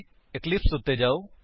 Eclipse ਉੱਤੇ ਜਾਓ